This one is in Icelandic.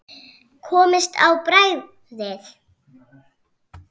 Komist á bragðið